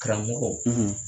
Karamɔgɔ